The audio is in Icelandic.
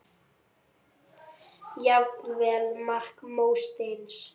Jafnvel mark mótsins?